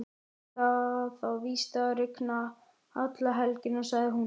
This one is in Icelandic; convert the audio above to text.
Það á víst að rigna alla helgina, sagði hún.